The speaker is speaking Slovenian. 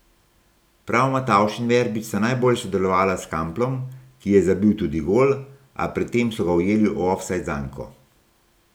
Prav Matavž in Verbič sta najbolje sodelovala s Kamplom, ki je zabil tudi gol, a pred tem so ga ujeli v ofsajd zanko.